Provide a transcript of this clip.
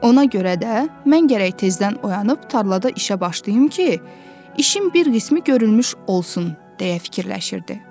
Ona görə də mən gərək tezdən oyanıb tarlada işə başlayım ki, işin bir qismi görülmüş olsun deyə fikirləşirdi.